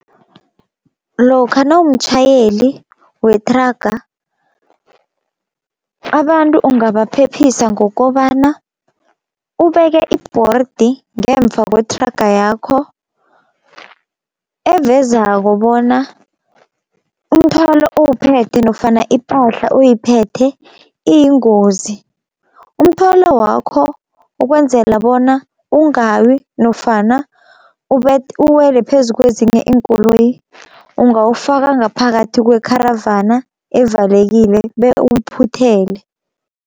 Lokha nawumtjhayeli wethraga abantu ungabaphephisa ngokobana, ubeke i-board ngemva kwethraga yakho evezako bona umthwalo owuphethe nofana ipahla oyiphethe iyingozi. Umthwalo wakho ukwenzela bona ungawi nofana uwele phezu ukwezinye iinkoloyi, ungawufaka ngaphakathi kwekharavana evalekile bewuphuthele.